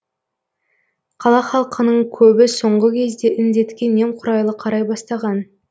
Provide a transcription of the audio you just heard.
қала халқының көбі соңғы кезде індетке немқұрайлы қарай бастаған